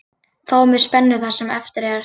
Fáum við spennu það sem eftir er.